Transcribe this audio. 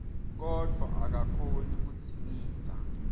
kodvwa akakhoni kudzingidza